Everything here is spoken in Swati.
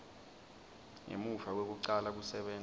ngemuva kwekucala kusebenta